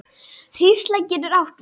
Hrísla getur átt við